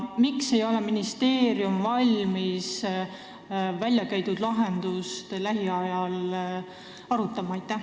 Miks ei ole ministeerium valmis väljakäidud lahendust lähiajal arutama?